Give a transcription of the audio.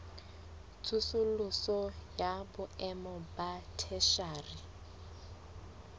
tsosoloso ya boemo ba theshiari